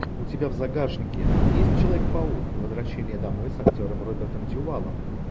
у тебя в загашнике есть человек паук возвращение домой с актером робертом дюваллом